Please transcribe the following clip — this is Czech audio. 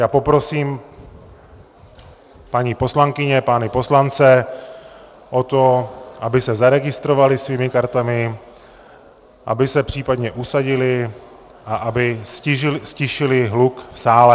Já poprosím paní poslankyně, pány poslance o to, aby se zaregistrovali svými kartami, aby se případně usadili a aby ztišili hluk v sále.